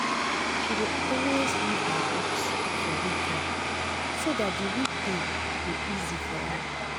she dey always read her books for weekend so dat d weekdays go easy for am